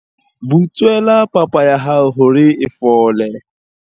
Butswela papa ya hao hore e fole.